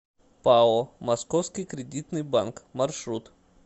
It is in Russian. пао московский кредитный банк маршрут